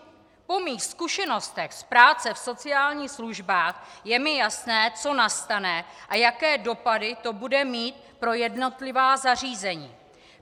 Po mých zkušenostech z práce v sociálních službách je mi jasné, co nastane a jaké dopady to bude mít pro jednotlivá zařízení.